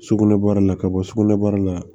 Sugunɛ bɔda la ka bɔ sugunɛbara la